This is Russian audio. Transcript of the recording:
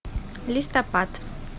листопад